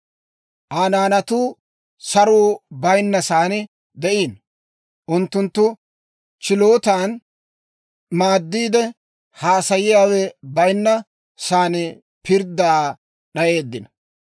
Aa naanatuu saruu bayinna saan de'iino; unttunttu chilootan, maaddiide haasayiyaawe bayinna saan pirddaa d'ayeeddino.